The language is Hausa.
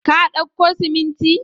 Ka dauko siminti?